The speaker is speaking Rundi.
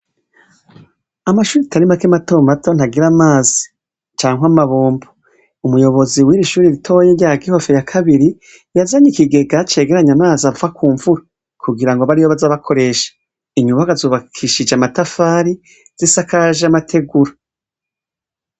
Amashure atarimake matomato ntagira amazi canke amabombo. Umuyobozi w'irishure ritoya rya kibafu ya kabiri yazanye ikigega cegeranya amazi ava kumvura kugira abariyo baza bakoresha. Inyubakwa zubakishije amatafari zisakaje amategura.